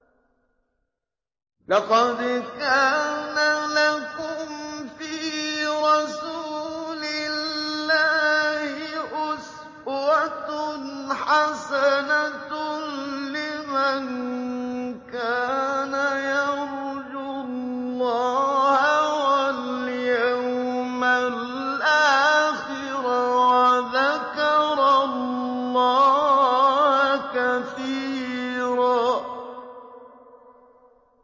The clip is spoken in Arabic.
لَّقَدْ كَانَ لَكُمْ فِي رَسُولِ اللَّهِ أُسْوَةٌ حَسَنَةٌ لِّمَن كَانَ يَرْجُو اللَّهَ وَالْيَوْمَ الْآخِرَ وَذَكَرَ اللَّهَ كَثِيرًا